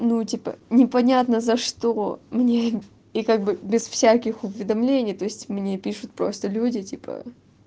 ну типа непонятно за что мне и как бы без всяких уведомлений то есть мне пишут просто люди типа